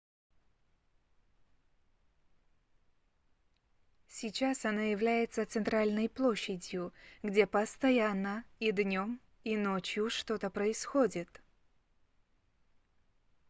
сейчас оно является центральной площадью где постоянно и днём и ночью что-то происходит